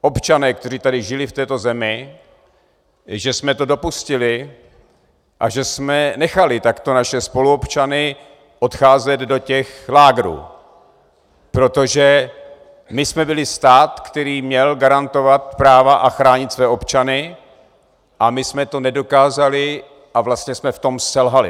občané, kteří tady žili v této zemi, že jsme to dopustili a že jsme nechali takto naše spoluobčany odcházet do těch lágrů, protože my jsme byli stát, který měl garantovat práva a chránit své občany, a my jsme to nedokázali a vlastně jsme v tom selhali.